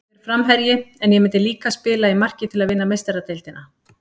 Ég er framherji, en ég myndi líka spila í marki til að vinna Meistaradeildina.